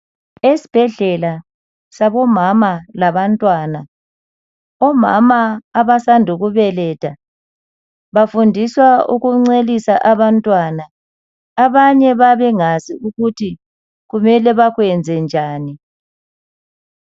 Esibhedlela sabomama labantwana omama abasanda ukubeletha bafundiswa ukuncelisa abantwana abanye bayabe bengakwazi ukuthi kumele bakwenze njani.